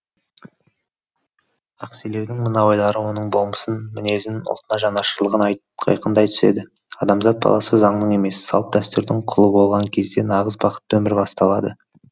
ақселеудің мына ойлары оның болмысын мінезін ұлтына жанашырлығын айқындай түседі адамзат баласы заңның емес салт дәстүрдің құлы болған кезде нағыз бақытты өмір басталады